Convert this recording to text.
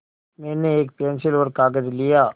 मैंने एक पेन्सिल और कागज़ लिया